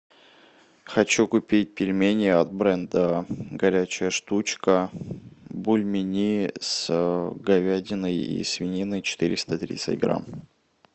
хочу купить пельмени от бренда горячая штучка бульмени с говядиной и свининой четыреста тридцать грамм